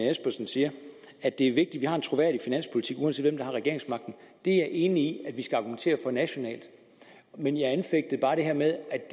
espersen siger at det er vigtigt vi har en troværdig finanspolitik uanset har regeringsmagten det er jeg enig i at vi skal argumentere for nationalt men jeg anfægtede bare det her med at